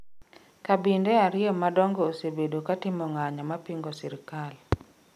Kabinde ariyo madongo osebedo ka timo ng'anyo mapingo sirikal